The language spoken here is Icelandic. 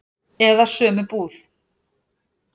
Eða sömu búð.